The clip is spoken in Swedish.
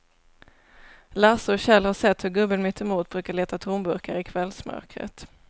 Lasse och Kjell har sett hur gubben mittemot brukar leta tomburkar i kvällsmörkret.